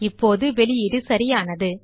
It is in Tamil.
இப்போது வெளியீடு சரியானது